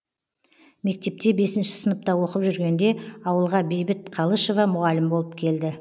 мектепте бесінші сыныпта оқып жүргенде ауылға бейбіт қалышева мұғалім болып келді